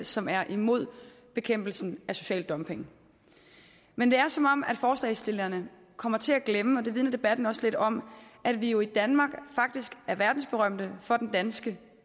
som er imod bekæmpelsen af social dumping men det er som om forslagsstillerne kommer til at glemme og det vidner debatten også lidt om at vi jo i danmark faktisk er verdensberømte for den danske